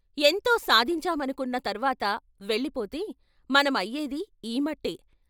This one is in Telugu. ఎంతో సాధించామనుకున్న తర్వాత వెళ్ళి పోతే మనం అయ్యేది ఈ మట్టే....